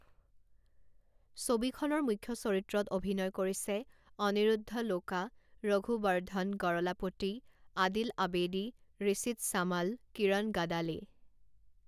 ছবিখনৰ মুখ্য চৰিত্ৰত অভিনয় কৰিছে অনিৰুদ্ধ লোকা, ৰঘুবৰ্ধন গৰলাপতি, আদিল আবেদী, ঋষিত সামাল, কিৰণ গাদালে।